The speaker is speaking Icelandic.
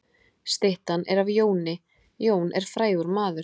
Styttan er af Jóni. Jón er frægur maður.